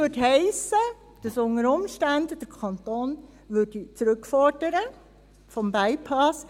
Das würde heissen, dass der Kanton unter Umständen zurückfordern würde – vom Bypass.